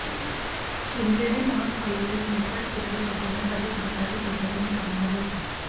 शिंदे हे महापालिकेत मोकाट कुत्रे पकडण्यासाठी कंत्राटी पद्धतीने कामावर होते